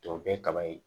Tɔ bɛɛ kaba ye